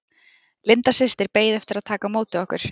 Linda systir beið eftir að taka á móti okkur.